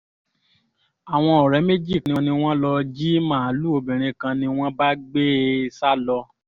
àwọn ọ̀rẹ́ méjì kan ni wọ́n lọ́ọ́ jí màálùú obìnrin kan ni wọ́n bá gbé e sá lọ